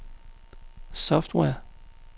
software